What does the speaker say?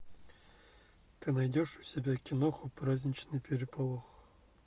ты найдешь у себя киноху праздничный переполох